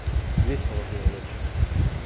весело было в общем